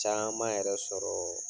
Caman yɛrɛ sɔrɔ